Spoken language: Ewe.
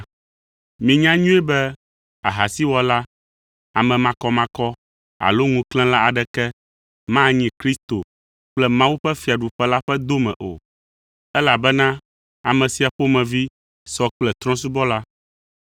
Minya nyuie be ahasiwɔla, ame makɔmakɔ alo ŋuklẽla aɖeke manyi Kristo kple Mawu ƒe fiaɖuƒe la ƒe dome o, elabena ame sia ƒomevi sɔ kple trɔ̃subɔla.